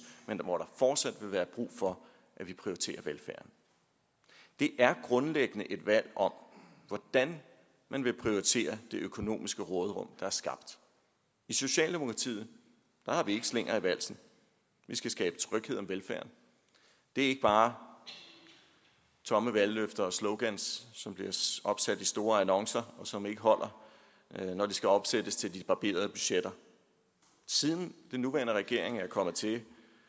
men hvor der fortsat vil være brug for at vi prioriterer velfærden det er grundlæggende et valg om hvordan man vil prioritere det økonomiske råderum der er skabt i socialdemokratiet har vi slinger i valsen vi skal skabe tryghed om velfærden det er ikke bare tomme valgløfter og slogans som bliver opsat i store annoncer og som ikke holder når de skal omsættes til de barberede budgetter siden den nuværende regering er kommet til i